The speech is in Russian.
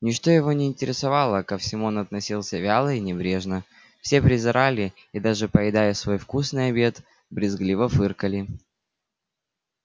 ничто его не интересовало ко всему он относился вяло и небрежно все презирали и даже поедая свой вкусный обед брезгливо фыркал